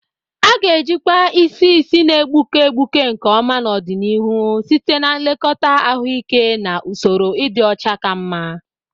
A ga-ejikwa isi isi na-egbuke egbuke nke ọma n'ọdịnihu site na nlekọta ahụike na usoro ịdị ọcha ka mma.